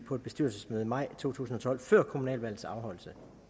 på et bestyrelsesmøde i maj to tusind og tolv før kommunalvalgets afholdelse